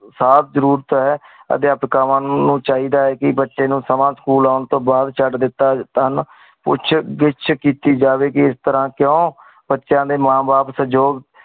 ਸਾਫ਼ ਜ਼ਰੁਰਤ ਆਯ ਅਟਕਾਉਣ ਨੂ ਚੀ ਦਾ ਕੀ ਬਚੀ ਨੂ school ਆਉਣ ਤੂੰ ਬਾਦ ਕਾਹਦ ਦੇਤਾ ਪੁਛ ਦੇਸ਼ ਕੀਤੀ ਜੇ ਕੀ ਏਸ੍ਤੇਰ੍ਹਾਂ ਕੁੰ ਬਚ੍ਯ੍ਨਾ ਡੀ ਮਨ ਬਾਪ